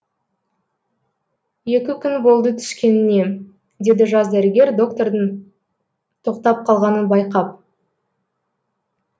екі күн болды түскеніне деді жас дәрігер доктордың тоқтап қалғанын байқап